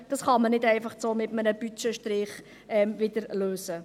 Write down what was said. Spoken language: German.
Dies kann man nicht einfach so mit einem Strich im Budget lösen.